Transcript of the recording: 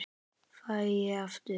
Fæ ég aftur?